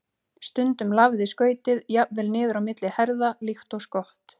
Stundum lafði skautið jafnvel niður á milli herða líkt og skott.